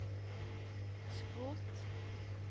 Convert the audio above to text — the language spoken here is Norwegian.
skrot